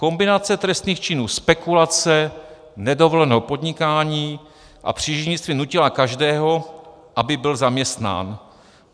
Kombinace trestných činů spekulace, nedovoleného podnikání a příživnictví nutila každého, aby byl zaměstnán.